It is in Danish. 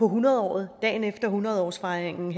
hundredåret dagen efter hundrede årsfejringen